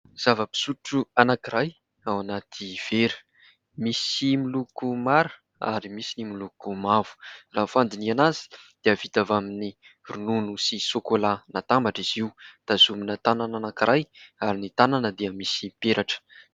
Zava-pisotro anankiray ao anaty vera, misy miloko mara ary misy ny miloko mavo. Raha ny fandinihina azy dia vita avy amin'ny ronono sy sôkôla natambatra izy io. Tazomina tanana anankiray ary ny tanana dia misy peratra.